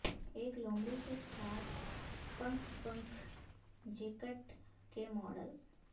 ایک لومڑی کے ساتھ پنکھ پنکھ جیکٹ کے ماڈل